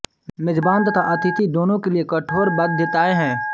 मेजबान तथा अतिथि दोनों के लिये कठोर बाध्यतायें हैं